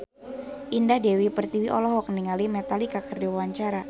Indah Dewi Pertiwi olohok ningali Metallica keur diwawancara